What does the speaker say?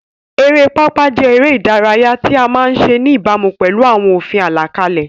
Eré orí pápá jẹ́ eré ìdárayá tí a máa ń ṣe ní ìbámu pẹ̀lú àwọn òfin àlàkalẹ̀.